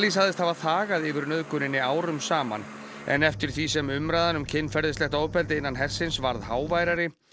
sagðist hafa þagað yfir nauðguninni árum saman en eftir því sem umræðan um kynferðislegt ofbeldi innan hersins varð háværari